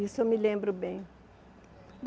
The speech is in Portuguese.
Isso eu me lembro bem.